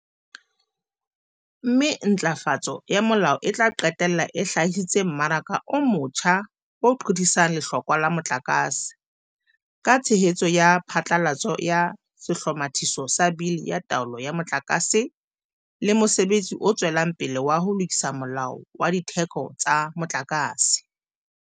Mme ntjhafatso ya molao e tla qetella e hlahisitse mmaraka o motjha o qothisang lehlokwa la motlakase, ka tshehetso ya phatlalatso ya Sehlomathiso sa Bili ya Taolo ya Motlaka se le mosebetsi o tswelang pele wa ho lokisa Molao wa Ditheko tsa Motlakase.